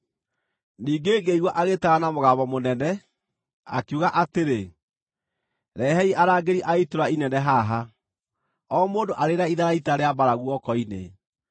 Ningĩ ngĩigua agĩĩtana na mũgambo mũnene, akiuga atĩrĩ, “Rehei arangĩri a itũũra inene haha, o mũndũ arĩ na itharaita rĩa mbaara guoko-inĩ.”